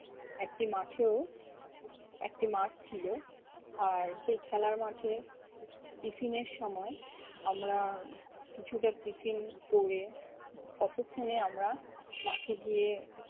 একটি মাঠেও একটা মাঠ ছিল আর, সেই খেলার মাঠে tiffin এর সময় আমরা কিছুটা tiffin করে ততক্ষণে আমরা মাঠে গিয়ে